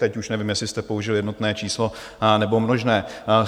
Teď už nevím, jestli jste použil jednotné číslo nebo množné.